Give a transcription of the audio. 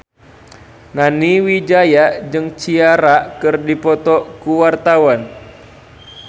Nani Wijaya jeung Ciara keur dipoto ku wartawan